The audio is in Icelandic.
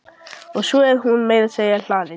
Og svo er hún meira að segja hlaðin.